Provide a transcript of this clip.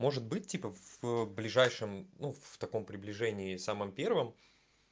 может быть типа в ближайшем ну в таком приближении самом первом